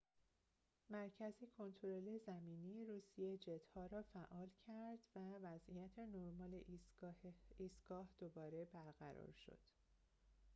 مرکز کنترل زمینی روسیه جت‌ها را فعال کرد و وضعیت نرمال ایستگاه دوباره برقرار شد